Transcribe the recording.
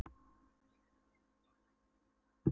um síðar, en hún hefur hinsvegar ekki yfirgefið staðinn ennþá.